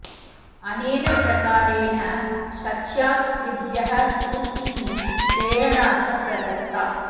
अनेन प्रकारेण शच्या स्त्रिभ्यः स्फूर्तिः प्रेरणा च प्रदता